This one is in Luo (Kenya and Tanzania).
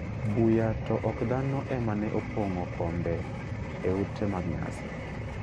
Buya to ok dhano ema ne opong'o kombe e ute mag nyasi.